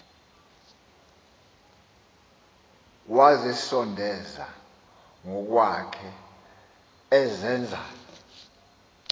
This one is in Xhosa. wazisondeza ngokwakhe ezenza